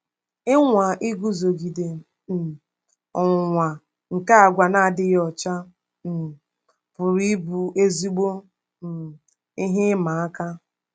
Ịnwa iguzogide um ọnwụnwa nke àgwà na-adịghị ọcha um pụrụ ịbụ ezigbo um ihe ịma aka.